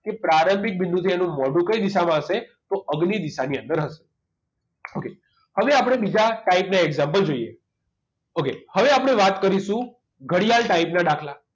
okay પ્રારંભિક બિંદુથી એનું મોઢું કઈ દિશામાં હશે તો અગ્નિ દિશા ની અંદર હશે okay હવે આપણે બીજા type ના example જોઈએ ok હવે આપણે વાત કરીશું ઘડિયાળ type ના દાખલા